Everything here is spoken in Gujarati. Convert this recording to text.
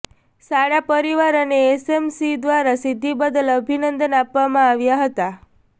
શાળા પરિવાર અને એસએમસી દ્વારા સિધ્ધિ બદલ અભિનંદન આપવામાં આવ્યા હતા